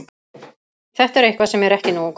Þetta er eitthvað sem er ekki nógu gott.